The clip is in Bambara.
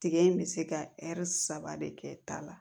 Tigɛ in bɛ se ka saba de kɛ ta la